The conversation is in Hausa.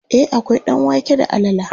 e akwai ɗanwake da alala